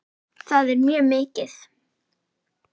Það er mjög mikið.